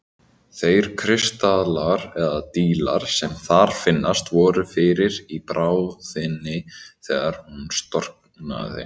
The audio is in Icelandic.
Þeir kristallar, eða dílar, sem þar finnast voru fyrir í bráðinni þegar hún storknaði.